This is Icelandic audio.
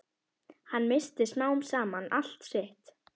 Hann missti smám saman allt sitt.